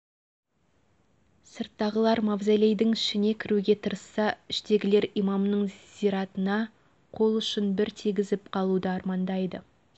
сырттағылар мавзолейдің ішіне кіруге тырысса іштегілер имамның зиратына қол ұшын бір тигізіп қалуды армандайды